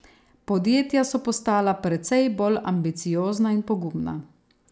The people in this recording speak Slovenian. Podjetja so postala precej bolj ambiciozna in pogumna.